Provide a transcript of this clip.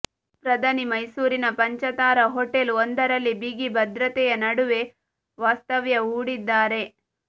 ಪ್ರಧಾನಿ ಮೈಸೂರಿನ ಪಂಚತಾರಾ ಹೋಟೆಲ್ ಒಂದರಲ್ಲಿ ಬಿಗಿ ಭದ್ರತೆಯ ನಡುವೆ ವಾಸ್ತವ್ಯ ಹೂಡಿದ್ದಾರೆ